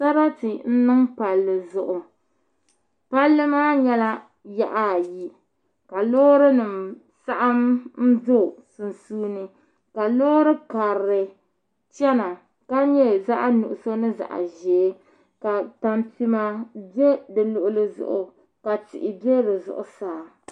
Sarati n niŋ palli zuɣu palli maa nyɛla yaɣa ayi ka loori nim saɣam n ʒɛ sunsuuni ka loori karili chɛna ka nyɛ zaɣ nuɣso ni zaɣ ʒiɛ ka tampima bɛ di luɣuli zuɣu ka tihi bɛ di zuɣusaa